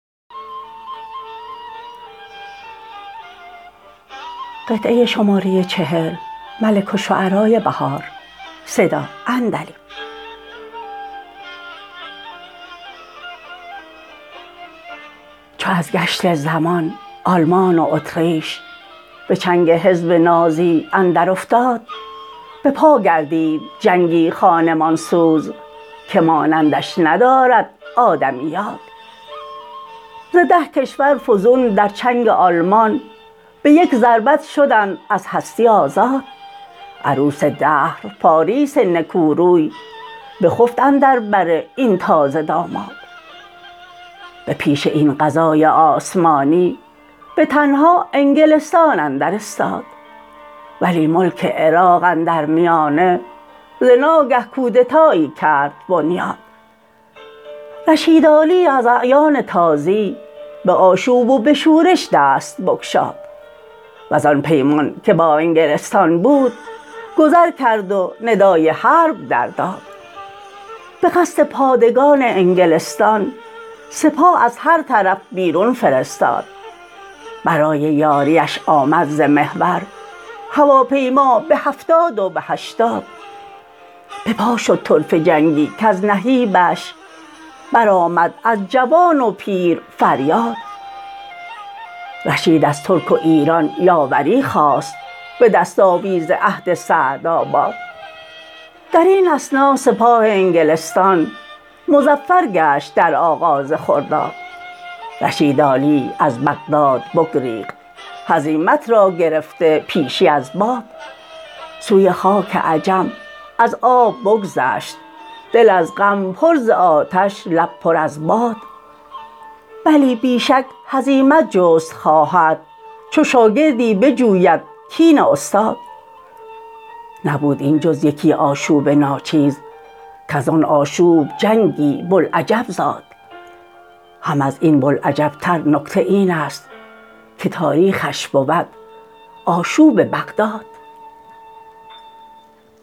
چو از گشت زمان آلمان و اتریش به چنگ حزب نازی اندر افتاد بپا گردید جنگی خانمان سوز که مانندش ندارد آدمی یاد ز ده کشور فزون در چنگ آلمان به یک ضربت شدند از هستی آزاد عروس دهر پاریس نکو روی بخفت اندر بر این تازه داماد به پیش این قضای آسمانی به تنها انگلستان اندر استاد ولی ملک عراق اندر میانه ز ناگه کودتایی کرد بنیاد رشید عالی از اعیان تازی به آشوب و به شورش دست بگشاد وزان پیمان که با انگلستان بود گذر کرد و ندای حرب در داد به قصد پادگان انگلستان سپاه از هر طرف بیرون فرستاد برای یاریش آمد ز محور هواپیما به هفتاد و به هشتاد بپا شد طرفه جنگی کز نهیبش برآمد از جوان و پیر فریاد رشید از ترک و ایران یاوری خواست به دست آویز عهد سعدآباد در این اثنا سپاه انگلستان مظفر گشت در آغاز خرداد رشید عالی از بغداد بگریخت هزیمت را گرفته پیشی از باد سوی خاک عجم از آب بگذشت دل از غم پر ز آتش لب پر از باد بلی بی شک هزیمت جست خواهد چو شاگردی بجوید کین استاد نبود این جز یکی آشوب ناچیز کزان آشوب جنگی بلعجب زاد هم از این بلعجب تر نکته اینست که تاریخش بود آشوب بغداد